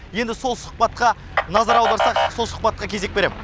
енді сол сұхбатқа назар аударсақ сол сұхбатқа кезек берем